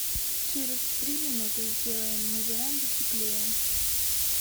через три минуты сделай на веранде теплее